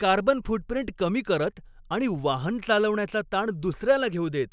carbon footprint कमी करत आणि वाहन चालवण्याचा ताण दुसऱ्याला घेऊ देत,